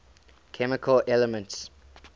chemical elements